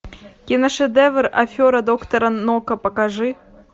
киношедевр афера доктора нока покажи